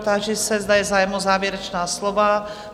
Táži se, zda je zájem o závěrečná slova?